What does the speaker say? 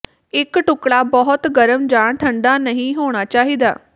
ਇੱਕ ਟੁਕੜਾ ਬਹੁਤ ਗਰਮ ਜਾਂ ਠੰਢਾ ਨਹੀਂ ਹੋਣਾ ਚਾਹੀਦਾ